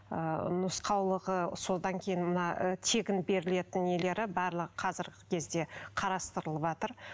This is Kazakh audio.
ы нұсқаулығы содан кейін мына тегін берілетін нелері барлығы қазіргі кезде қарастырылыватыр